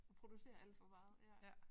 Og producerer alt for meget ja